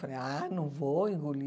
Falei, ah, não vou engolir.